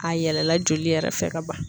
A yɛlɛla joli yɛrɛ fɛ ka ban.